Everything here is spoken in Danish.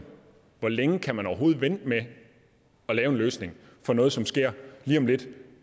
hvor længe kan man overhovedet vente med at lave en løsning for noget som sker lige om lidt